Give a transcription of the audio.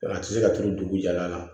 A tɛ se ka turu dugujɔla la